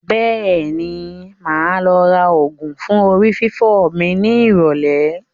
Bẹ́ẹ̀ni, máa lọ ra ògùn fún orí fífọ́ mi ní ìrọ̀lẹ́